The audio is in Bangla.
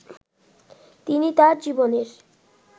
তিনি তার জীবনের